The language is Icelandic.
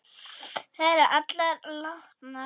Þær eru allar látnar.